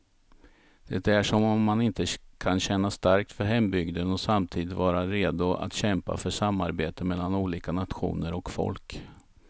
Det är som om man inte kan känna starkt för hembygden och samtidigt vara redo att kämpa för samarbete mellan olika nationer och folk.